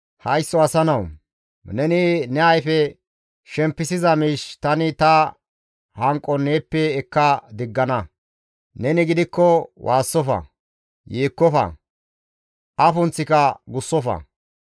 «Haysso asa nawu! Neni ne ayfe shempisiza miish tani ta hanqon neeppe ekka diggana; neni gidikko waassofa; yeekkofa; afunththika gussofa.